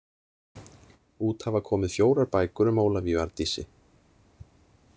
Út hafa komið fjórar bækur um Ólafíu Arndísi.